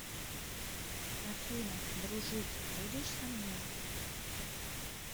афина дружить будешь со мной